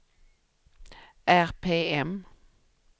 RPM